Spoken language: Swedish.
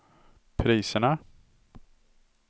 priserna